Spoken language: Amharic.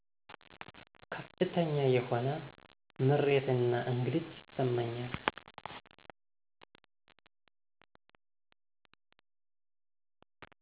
ከፍተኛ የሆነ ምሬት እና እንግልት ይሰማኛል።